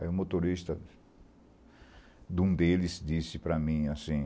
Aí o motorista de um deles disse para mim assim,